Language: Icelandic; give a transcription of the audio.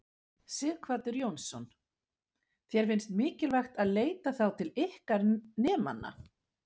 Sighvatur Jónsson: Þér finnst mikilvægt að leita þá til ykkar nemendanna?